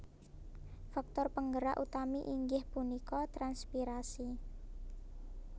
Faktor penggerak utami inggih punika transpirasi